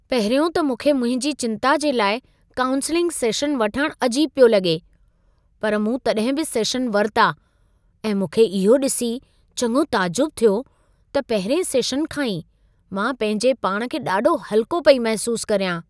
पहिरियों त मूंखे मुंहिंजी चिंता जे लाइ काऊंसिलिंग सेशन वठण अजीब पियो लॻे, पर मूं तॾहिं बि सेशन वरिता ऐं मूंखे इहो ॾिसी चङो ताजुब थियो त पहिरिएं सेशन खां ई मां पंहिंजे पाण खे ॾाढो हल्को पई महिसूस कर्यां।